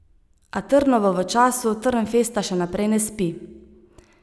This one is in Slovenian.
A Trnovo v času Trnfesta še naprej ne spi.